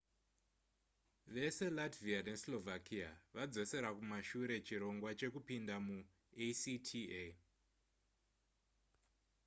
vese latvia neslovakia vadzosera kumashure chirongwa chekupinda muacta